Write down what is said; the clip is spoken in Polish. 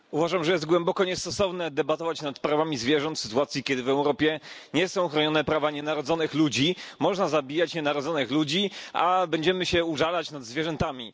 Panie Przewodniczący! Uważam, że jest głęboko niestosowne debatować nad prawami zwierząt w sytuacji, kiedy w Europie nie są chronione prawa nienarodzonych ludzi. Można zabijać nienarodzonych ludzi, a będziemy się użalać nad zwierzętami.